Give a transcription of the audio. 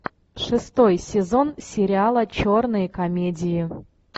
шестой сезон сериала черные комедии